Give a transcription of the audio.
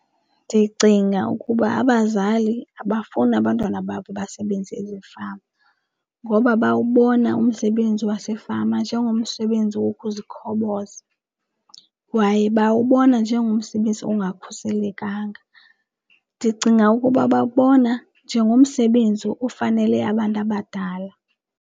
Ndicinga ukuba abazali abafuni abantwana babo basebenze ezifama ngoba bawubona umsebenzi wasefama njengomsebenzi wokuzikhoboza kwaye bawubona njengomsebenzi ongakhuselekanga. Ndicinga ukuba babona njengomsebenzi ofanele abantu abadala.